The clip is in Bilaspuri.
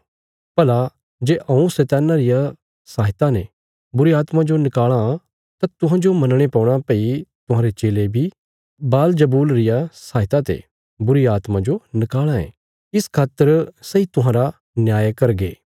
भला जे हऊँ शैतान्ना रिया सहायता ते बुरीआत्मां जो नकाल़ां तां तुहांजो मनणे पौणा भई तुहांरे चेले बी बालजबूल रिया सहायता ते बुरीआत्मां जो निकाल़ां ये इस खातर सैई तुहांरा न्याय करगे